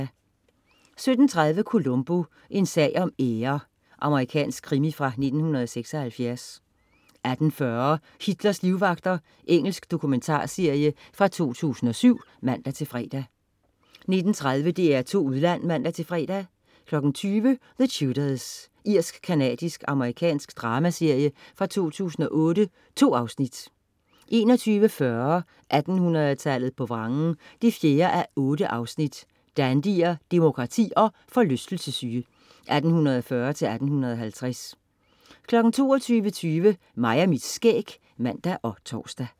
17.30 Columbo: En sag om ære. Amerikansk krimi fra 1976 18.40 Hitlers livvagter. Engelsk dokumentarserie fra 2007 (man-fre) 19.30 DR2 Udland (man-fre) 20.00 The Tudors. Irsk-canadisk-amerikansk dramaserie fra 2008. 2 afsnit 21.40 1800-tallet på vrangen 4:8 Dandyer, demokrati og forlystelsessyge, 1840-1850 22.20 Mig og mit skæg (man og tors)